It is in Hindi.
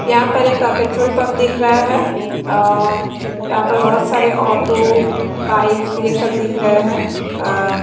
यहाँ पर एक आ पेट्रोल पंप दिख रहा है और यहाँ पर बहोत सारे ऑटो बाइक्स ये सब दिख रहे हैं अ--